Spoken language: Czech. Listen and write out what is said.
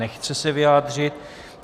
Nechce se vyjádřit.